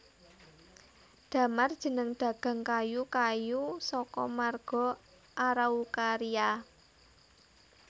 Damar jeneng dagang kayu kayu saka marga Araucaria